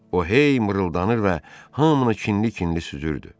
O hey mırıldanır və hamını kinli-kinli süzürdü.